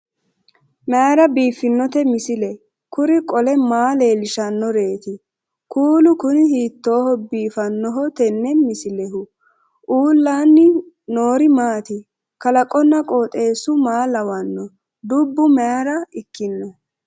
mayra biiffinote misile? kuri qole maa leellishannoreeti? kuulu kuni hiittooho biifannoho tenne misilehu? uullaanni noori maati? kalaqonna qooxeessu maa lawanno dubbo mayra ikkino